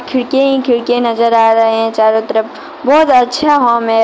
खिड़की ही खिड़की नजर आ रहे हैं चारों तरफ बहौत अच्छा है।